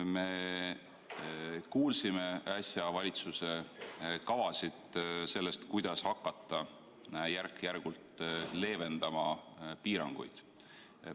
Me kuulsime äsja valitsuse kavasid sellest, kuidas hakata järk-järgult piiranguid leevendama.